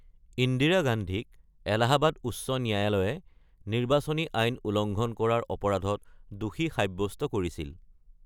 ইন্দিৰা গান্ধীক এলাহাবাদ উচ্চ ন্যায়ালয়ে নিৰ্বাচনী আইন উলংঘন কৰাৰ অপৰাধত দোষী সাব্যস্ত কৰিছিল।